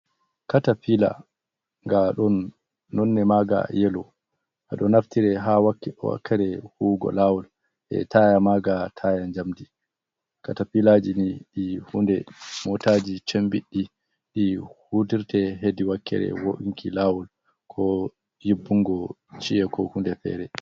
Katafiila, nga ɗon nonne maaga yelo, nga ɗo naftire ha wakkere huwugo laawol, e taaya maaga taaya njamdi. Katafiilaaji ni ɗi hunde mootaaji cembiɗɗi ɗi hutirte hedi wakere wo’unki lawol ko nyiɓɓungo chi'e ko hunde fere.